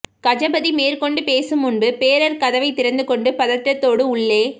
கஜபதி மேற்கொண்டு பேசும் முன்பு பேரர் கதவைத் திறந்து கொண்டு பதட்டத்தோடு உள்ளே